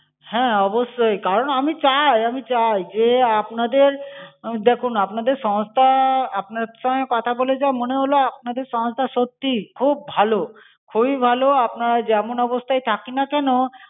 হ্যাঁ, অবশ্যই, কারণ আমি চাই আমি চাই যে আপনাদের দেখুন আপনাদের সংস্থা আপনার সঙ্গে কথা বলে যা মনে হল, আপনাদের সংস্থা সত্যি খুব ভালো, খুবই ভালো আমরা যেমন অবস্থায় থাকি না কেন,